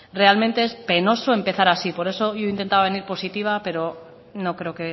realmente es penoso empezar así por eso hoy he intentado venir positiva pero no creo